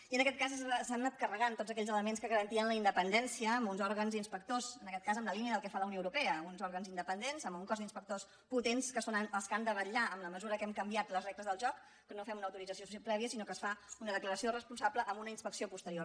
i en aquest cas s’han anat carregant tots aquells elements que garantien la independència amb uns òrgans inspectors en aquest cas en la línia del que fa la unió europea uns òrgans independents amb un cos d’inspectors potents que són els que han de vetllar en la mesura que hem canviat les regles del joc que no fem una autorització prèvia sinó que es fa una declaració responsable amb una inspecció posterior